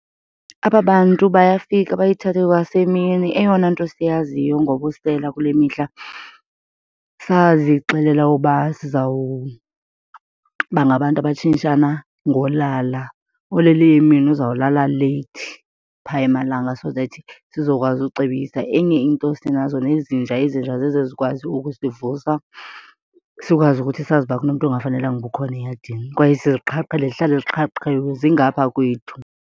Aba bantu bayafika bayithathe kwasemini. Eyona nto siyaziyo ngobusela kule mihla sazixelela uba sizawuba bangabantu abatshintshana ngolala. Olele emini uzawulala leyithi, phaa emalanga so that sizokwazi ucebisa. Enye into sinazo nezinja, izinja zizo ezikwazi ukusivusa sikwazi ukuthi sazi uba kunomntu ongafanelekanga uba ukhona eyadini kwaye siziqhaqhile, zihlale ziqhaqhiwe zingapha kwethu.